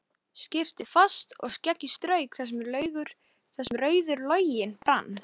Skyrpti fast og skeggið strauk þar sem rauður loginn brann.